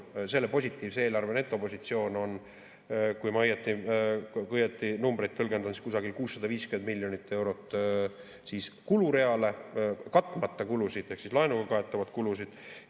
Selle positiivse eelarve netopositsioon on, kui ma õigesti numbreid tõlgendan, kusagil 650 miljonit eurot kulureale katmata kulusid ehk laenuga kaetavaid kulusid.